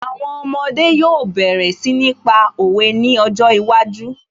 Àwọn ọmọdé yóò bẹ̀rẹ̀ sí ní pa òwe ní ọjọ́ iwájú